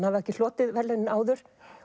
hafi ekki hlotið verðlaunin áður